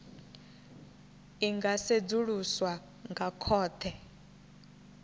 i nga sedzuluswa nga khothe